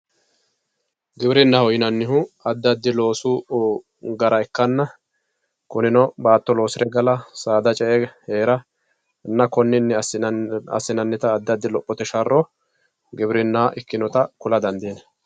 giwirinnaho yineemmohu addi addi loosu gara ikkkanna kurino baatto loosire gala saada ce"e heera konni garinni assinannita lophote sharro giwirinna ikkitewoota dandiinayii.